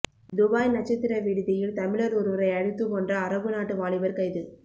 Dubai நட்சத்திர விடுதியில் தமிழர் ஒருவரை அடித்து கொன்ற அரபு நாட்டு வாலிபர் கைது